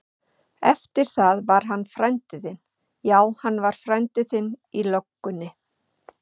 Eftir það var hann frændi þinn, já hann var frændi þinn í löggunni.